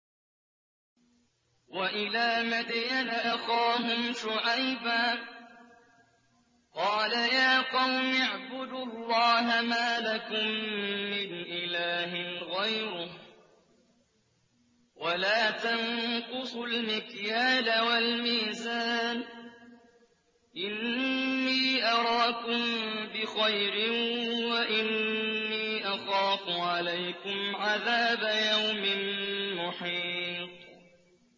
۞ وَإِلَىٰ مَدْيَنَ أَخَاهُمْ شُعَيْبًا ۚ قَالَ يَا قَوْمِ اعْبُدُوا اللَّهَ مَا لَكُم مِّنْ إِلَٰهٍ غَيْرُهُ ۖ وَلَا تَنقُصُوا الْمِكْيَالَ وَالْمِيزَانَ ۚ إِنِّي أَرَاكُم بِخَيْرٍ وَإِنِّي أَخَافُ عَلَيْكُمْ عَذَابَ يَوْمٍ مُّحِيطٍ